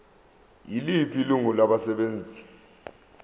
yiliphi ilungu labasebenzi